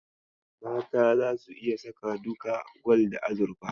Mata zasu iya saka duka gwal da azurfa.